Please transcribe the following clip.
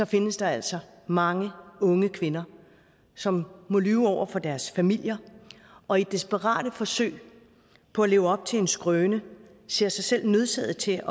findes der altså mange unge kvinder som må lyve over for deres familier og i desperate forsøg på at leve op til en skrøne ser sig selv nødsaget til